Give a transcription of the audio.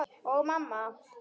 Og mamma.